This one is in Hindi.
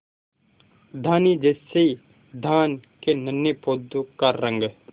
धानी जैसे धान के नन्हे पौधों का रंग